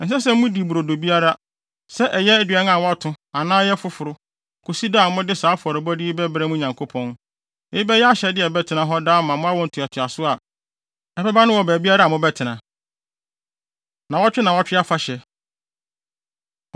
Ɛnsɛ sɛ mudi brodo biara, sɛ ɛyɛ aduan a wɔato anaa ɛyɛ foforo, kosi da a mode saa afɔrebɔde yi bɛbrɛ mo Nyankopɔn. Eyi bɛyɛ ahyɛde a ɛbɛtena hɔ daa ama awo ntoatoaso a ɛbɛba no wɔ baabiara a mobɛtena. Nnaawɔtwe Nnaawɔtwe Afahyɛ